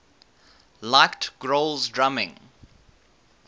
liked grohl's drumming